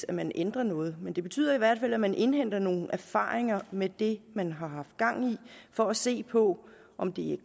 at man ændrer noget men det betyder i hvert fald at man indhenter nogle erfaringer med det man har haft gang i for at se på om det